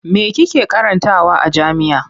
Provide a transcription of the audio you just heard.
Me kike karantawa a jami'a?